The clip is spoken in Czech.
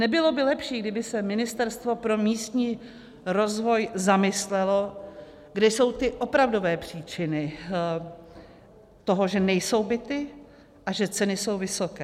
Nebylo by lepší, kdyby se Ministerstvo pro místní rozvoj zamyslelo, kde jsou ty opravdové příčiny toho, že nejsou byty a že ceny jsou vysoké?